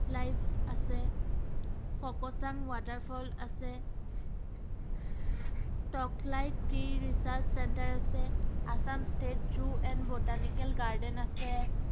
life আছে, Kakochang water falls আছে Tocklai tea research center আছে, Assam state zoo and botanical garden আছে।